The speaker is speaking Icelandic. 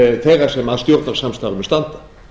þeirra sem að stjórnarsamstarfinu standa